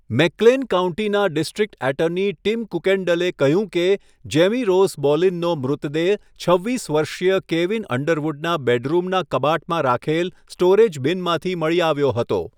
મેકક્લેન કાઉન્ટીના district attorney Tim કુકેન્ડેલે કહ્યું કે, જેમી રોઝ બોલિનનો મૃતદેહ છવ્વીસ વર્ષીય કેવિન અંડરવુડના બેડરૂમના કબાટમાં રાખેલ સ્ટોરેજ બિનમાંથી મળી આવ્યો હતો.